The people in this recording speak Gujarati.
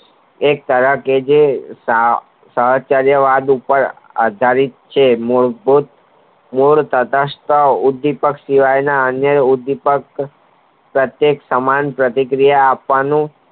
એક સારા જોગી આધારિત છે મૂળભૂત મૂળ તટસ્થ વિપત્તિઓના વિપક્ષ પ્રત્યેક્ષ સમાન પ્રતિક્રિયા આપવાનો